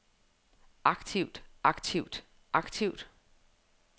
aktivt aktivt aktivt